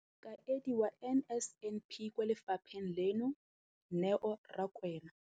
Mokaedi wa NSNP kwa lefapheng leno, Neo Rakwena,